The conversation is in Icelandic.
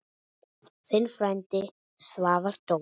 Þinn frændi, Svavar Dór.